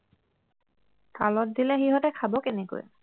থালত দিলে সিঁহতে খাব কেনেকৈ